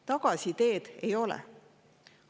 Tagasiteed ei ole.